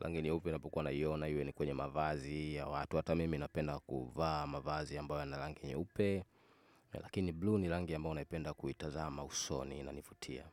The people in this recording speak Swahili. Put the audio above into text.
Rangi nyeupe ninapokuwa naiona iwe ni kwenye mavazi ya watu. Hata mimi napenda kuvaa mavazi ambayo yana rangi nyeupe. Lakini blue ni rangi ambayo napenda kuitazama usoni. Inanivutia.